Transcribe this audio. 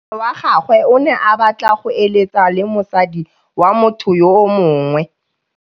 Monna wa gagwe o ne a batla go êlêtsa le mosadi wa motho yo mongwe.